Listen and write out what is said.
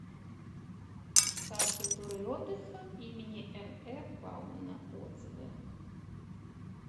сад культуры и отдыха им нэ баумана отзывы